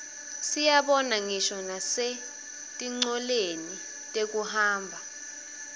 siyibona ngisho nasetincoleni tekuhamba